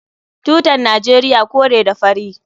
Tutan Najeriya kore ne da fari.